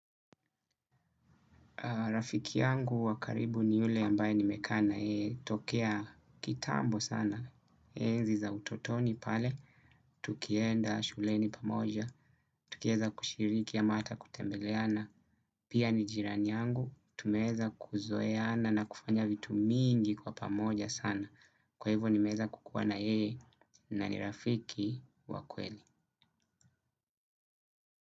Rafiki yangu wa karibu ni ule ambaye nimekaa na yeye, tokea kitambo sana, enzi za utotoni pale, tukienda shuleni pamoja, tukieza kushiriki ama hata kutembeleana, pia ni jirani yangu, tumeeza kuzoeana na kufanya vitu mingi kwa pamoja sana, kwa hivyo nimeeza kukuwa na yeye, na ni rafiki wa kweli.